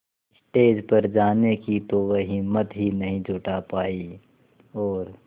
stage पर जाने की तो वह हिम्मत ही नहीं जुटा पाई और